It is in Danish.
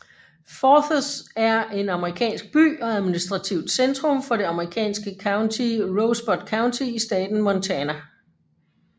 Forsyth er en amerikansk by og administrativt centrum for det amerikanske county Rosebud County i staten Montana